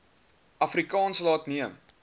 afrikaans laat neem